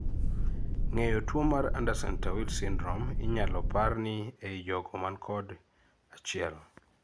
ng'eyo tuo mar Andersen Tawil syndrome inyalo par ni ei jogo man kod: achiel